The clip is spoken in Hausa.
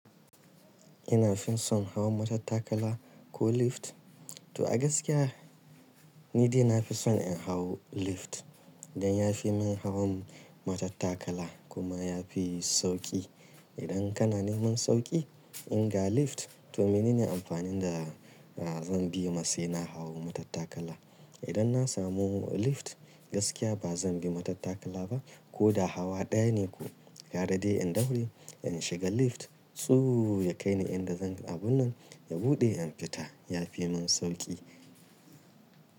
Ina fin son hawa matattakala ko lift? To a gaskiya ni dai na fi son in hau lift, dan ya fi min hawan matattakala kuma ya fi sauƙi. Idan kana neman sauƙi in ga lift to mene ne amfanin da zan biyema sai na hawa matattakala. Idan na samu lift gaskiya ba zan bi matattakala ba ko da hawa ɗaya ne ko. Gara dai in daure in shiga lift tsu ya kai ni inda zan abun nan ya buɗe in fita ya fi min sauƙi.